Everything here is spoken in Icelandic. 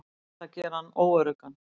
Ætla að gera hann óöruggan.